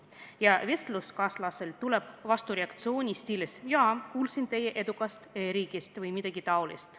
" Ja vestluskaaslaselt tuleb vastureaktsioon stiilis "Jaa, kuulsin teie edukast e-riigist" või midagi taolist.